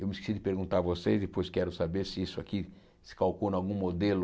Eu me esqueci de perguntar a vocês, depois quero saber se isso aqui se calcula em algum modelo...